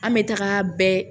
An bɛ taga bɛɛ